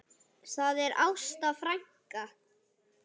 Það er Ásta frænka.